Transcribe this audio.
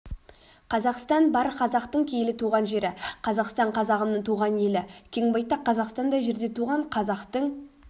қазақстан бар қазақтың киелі туған жері қазақстан қазағымның туған елі кен байтақ қазақстандай жерде туған қазақтың